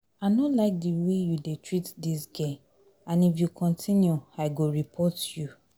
I no like the way you dey treat dis girl and if you continue I go report you